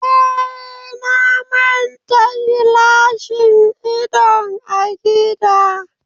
Eh, na manta gilashin idon a gida